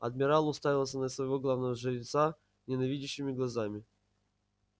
адмирал уставился на своего главного жреца ненавидящими глазами